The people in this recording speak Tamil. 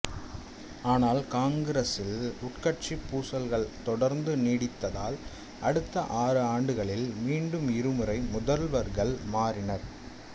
ஆனால் காங்கிரசில் உட்கட்சி பூசல்கள் தொடர்ந்து நீடித்ததால் அடுத்த ஆறாண்டுகளில் மீண்டும் இருமுறை முதல்வர்கள் மாறினர்